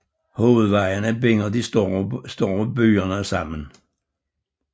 Hovedvejene binder de større byer sammen